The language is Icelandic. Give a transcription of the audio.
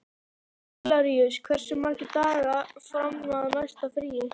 Hilaríus, hversu margir dagar fram að næsta fríi?